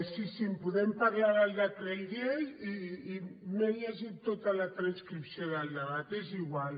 sí sí podem parlar del decret llei i m’he lle·git tota la transcripció del debat és igual